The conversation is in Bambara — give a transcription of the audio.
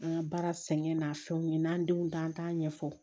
An ka baara sɛgɛn n'a fɛnw ye n'an denw ta an t'a ɲɛfɔ